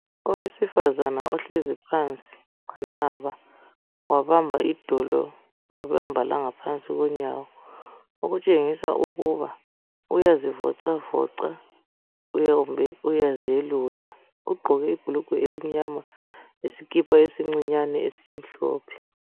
Owesifazane ohlezi phansi wanaba wabamba idolo wabamba langaphansi kwenyawo, okutshengisa ukuba uyazivocavoca kumbe uyazelula. Ugqoke ibhulugwe elimnyama lesikipa esincinyane esimhlophe.